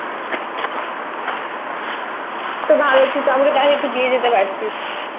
বাঃ! তো ভালো তো তুই একটু তো দিয়ে যেতে পারতিসI